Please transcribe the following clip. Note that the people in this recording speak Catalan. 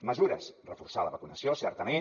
mesures reforçar la vacunació certament